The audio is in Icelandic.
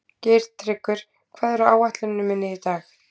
Geirtryggur, hvað er á áætluninni minni í dag?